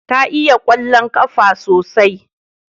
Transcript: Ta iya kwallon kafa sosai